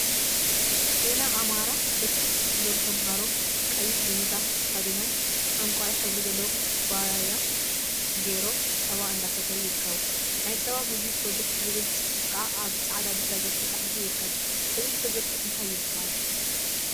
ዜና አማራ ብርክት ዝበሉ ተምሃሮ ቀይሕ ዲቪዛ ተከዲኖም ዕንቋይ ሕብሪ ዘለዎ ኩባያ ገይሮም ፀባ እንዳሰተዩ ይርከቡ፡፡ ናይ ፀባ ምግቢ ፕሮጀክት ዝብል ፅሑፍ ከዓ አብ ፃዐዳ ድሕረ ገፅ ተፃሒፉ ይርከብ፡፡ እዚ ፕሮጀክት እንታይ ይበሃል?